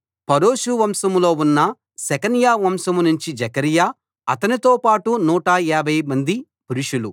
Parosh వంశంలో ఉన్న Shecaniah వంశంనుంచి జెకర్యా అతనితో పాటు 150 మంది పురుషులు